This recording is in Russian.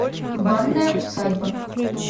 банная усадьба